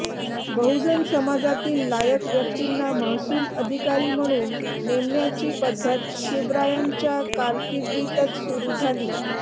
बहुजन समाजातील लायक व्यक्तिंना महसूल अधिकारी म्हणून नेमण्याची पद्धत शिवरायांच्या कारकिर्दीतच सुरु झाली